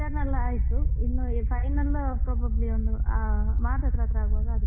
ಈಗ internal ಎಲ್ಲ ಆಯ್ತು ಇನ್ನು final probably ಒಂದು March ಹತ್ರ ಹತ್ರ ಆಗುವಾಗ ಆಗ್ತದೆ.